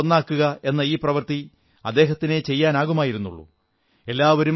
രാജ്യത്തെ ഒന്നാക്കുക എന്ന ഈ പ്രവൃത്തി അദ്ദേഹത്തിനേ ചെയ്യാനാകുമായിരുന്നുള്ളൂ